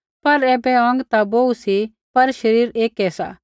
पर ऐबै अौंग ता बोहू सी पर शरीर ऐकै सा